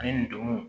Ani ndomow